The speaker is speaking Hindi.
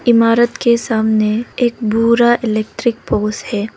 इमारत के सामने एक भूरा इलेक्ट्रिक पोल है।